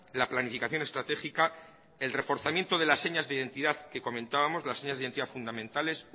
la planificación estratégica el reforzamiento de las señas de identidad que comentábamos las señas de identidad fundamentales